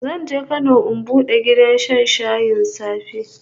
Zan je Kano in bude gidan shan shayin safe